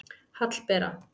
Hallbera